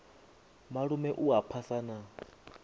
malume u a phasa na